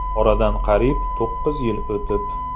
Oradan qariyb to‘qqiz yil o‘tib.